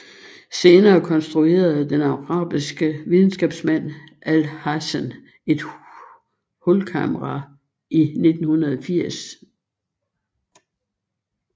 Senere konstruerede den arabiske videnskabsmand Alhazen et hulkamera i 980